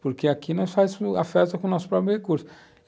porque aqui nós fazemos a festa com o nosso próprio recurso.